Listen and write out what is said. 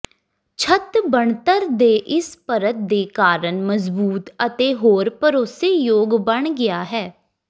ਛੱਤ ਬਣਤਰ ਦੇ ਇਸ ਪਰਤ ਦੇ ਕਾਰਨ ਮਜ਼ਬੂਤ ਅਤੇ ਹੋਰ ਭਰੋਸੇਯੋਗ ਬਣ ਗਿਆ ਹੈ